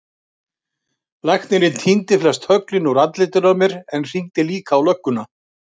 Læknirinn tíndi flest höglin úr andlitinu á mér en hringdi líka á lögguna.